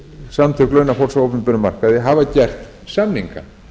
samtök launafólks á opinberum markaði hafa gert samninga